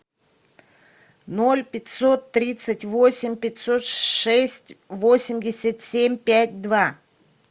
ноль пятьсот тридцать восемь пятьсот шесть восемьдесят семь пять два